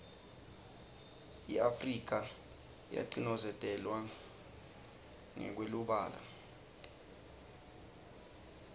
iafrika yacinozetelwa ngekweubala